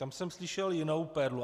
Tam jsem slyšel jinou perlu.